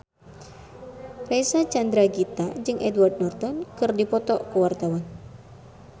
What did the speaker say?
Reysa Chandragitta jeung Edward Norton keur dipoto ku wartawan